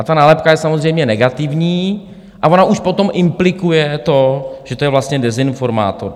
A ta nálepka je samozřejmě negativní a ona už potom implikuje to, že to je vlastně dezinformátor.